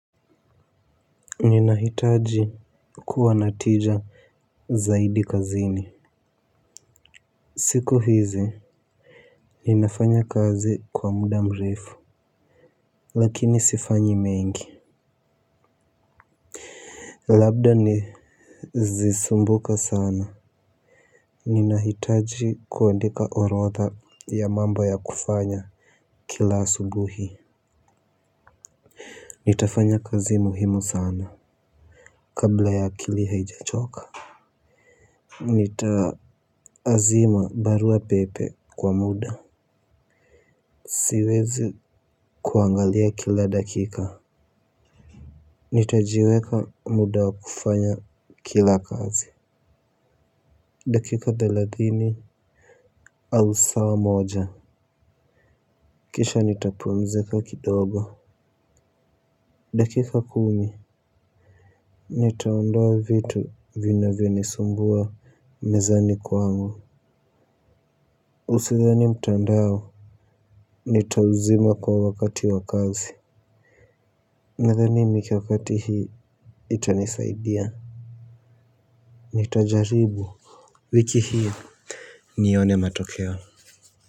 Ninahitaji kuwa na tija zaidi kazini. Siku hizi ninafanya kazi kwa muda mrefu. Lakini sifanyi mengi. Labda nizisumbuka sana. Ninahitaji kuandika orodha ya mambo ya kufanya kila asubuhi nitafanya kazi muhimu sana kabla ya akili haijachoka. Nitaazima barua pepe kwa muda. Siwezi kuangalia kila dakika. Nitajiweka muda wa kufanya kila kazi. Dakika thelathini au saa moja. Kisha nitapumzika kidogo. Dakika kumi. Nitaondoa vitu vinavyo nisumbua mezani kwangu Usidhani mtandao. Nitauzima kwa wakati wa kazi. Nadhani michakato hii Itanisaidia. Nitajaribu Vichi hii nione matokeo.